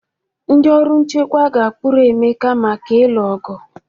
The ndị ọrụ nchekwa ga-akpụrụ Emeka maka ịlụ ọgụ.